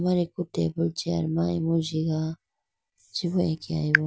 amariku tabool chair ma imu jiga chiboo akeya boo.